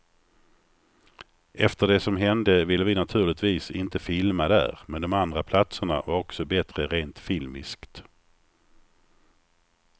Efter det som hände ville vi naturligtvis inte filma där, men de andra platserna var också bättre rent filmiskt.